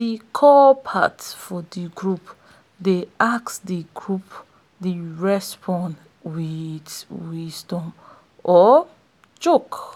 de call part of de song dey ask de group dey respond wit wisdom or joke